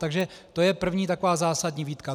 Takže to je první taková zásadní výtka.